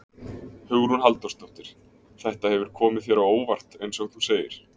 Hugrún Halldórsdóttir: Þetta hefur komið þér á óvart eins og þú segir?